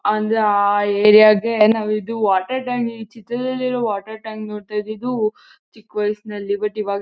ಅಂದ್ರೆ ಆ ಏರಿಯಾ ಗೆ ನಾವು ಇದು ವಾಟರ್ ಟ್ಯಾಂಕ್ ಈ ಚಿತ್ರದಲ್ಲಿಇರುವ ವಾಟರ್ ಟ್ಯಾಂಕ್ ನೋಡ್ತಾ ಇದ್ದಿದು ಚಿಕ್ಕವಾಯ್ಸ್ನಲ್ಲಿ ಬಟ್ ಇವಾಗ--